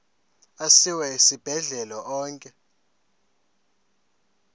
asiwa esibhedlele onke